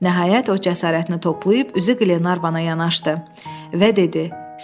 Nəhayət, o cəsarətini toplayıb üzü Qlenarvana yanaşdı və dedi: